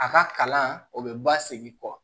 A ka kalan o bɛ basegi kɔ